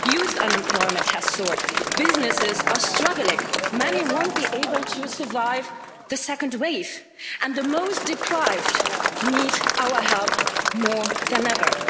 Youth unemployment has soared, businesses are struggling many won't be able to survive the second wave and the most deprived need our help more than ever.